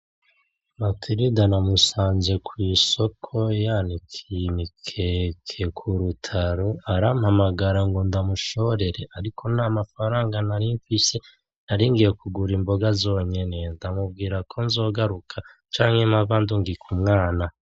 Matirida namusanze kwisoko yanikiye imikeke ku rutaro, arampamagara ngo ndamushorere ariko nta mafaranga nari nfise naringiye kugura Imboga zonyene, ndamubwira ko zogaruka canke mpava ndungika umwana .